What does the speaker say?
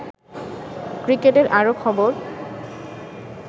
ক্রিকেটের আরো খবর